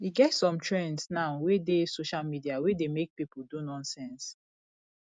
e get some trends now wey dey social media wey dey make people do nonsense